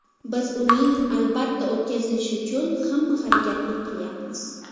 Biz uning albatta o‘tkazilishi uchun hamma harakatni qilyapmiz.